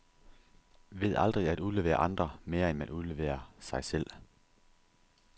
Ved aldrig at udlevere andre, mere end man udleverer sig selv.